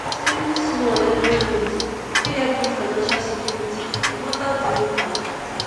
saving small every month fit help build financial security no matter di income